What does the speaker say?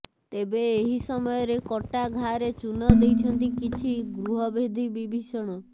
ତେବେ ଏହି ସମୟରେ କଟା ଘାରେ ଚୂନ ଦେଇଛନ୍ତି କିଛି ଗୃହଭେଦୀ ବିଭୀଷଣ